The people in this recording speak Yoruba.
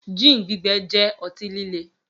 Gin gbígbẹ jẹ́ ọtí líle